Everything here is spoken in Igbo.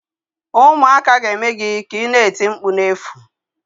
Ụmụaka ga-eme gị ka ina eti mkpu na-efu